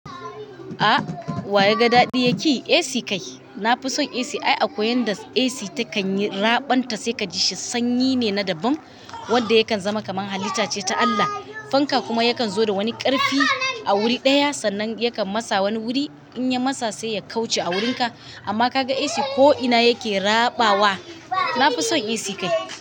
A wa ya ga daɗi ya ƙi. AC kai. Na fi son AC. Ai akwai wadanda AC takan yi raɓonta sai ka ji shi sanyi ne na daban wadda yakan zama kamar halitta ce ta Allah. Fanka kuma yakan zo da wani ƙarfi a wuri ɗaya, sannan yakan masa wani wuri in ya masa sai ya kauce a wurinka. Amma ka ga AC ko'ina yake raɓawa. Na fi son AC kai.